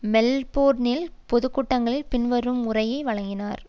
மெல்போர்னிலும் பொது கூட்டங்களில் பின்வரும் உரையை வழங்கினார்